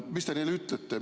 Mis te neile ütlete?